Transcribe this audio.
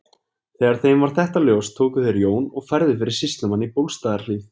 Þegar þeim varð þetta ljóst tóku þeir Jón og færðu fyrir sýslumann í Bólstaðarhlíð.